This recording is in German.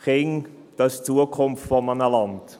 Kinder, sie sind die Zukunft eines Landes.